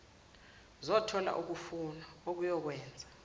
zothola ukunakwa okuyokwenza